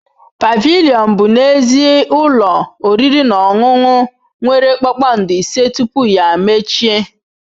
Pavilion bụ n'ezie ụlọ oriri na ọṅụṅụ nwere kpakpando ise tupu ya emechie.